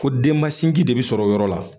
Ko den ma sinji de bɛ sɔrɔ yɔrɔ la